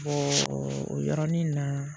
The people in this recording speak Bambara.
o yɔrɔnin na